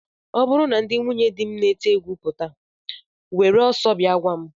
Ọ bụrụ na ndị nwunyedi m na-ete egwu pụta, were ọsọ bịa gwa m!